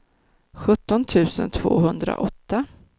sjutton tusen tvåhundraåtta